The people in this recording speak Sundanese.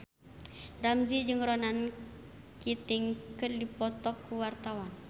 Ramzy jeung Ronan Keating keur dipoto ku wartawan